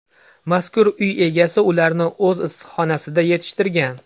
Mazkur uy egasi ularni o‘z issiqxonasida yetishtirgan.